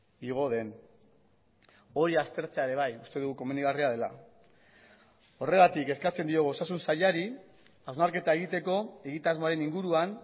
igo den hori aztertzea ere bai uste dugu komenigarria dela horregatik eskatzen diogu osasun sailari hausnarketa egiteko egitasmoaren inguruan